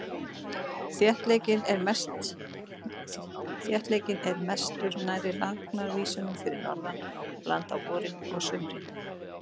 Þéttleikinn er mestur nærri lagnaðarísnum fyrir norðan land á vorin og sumrin.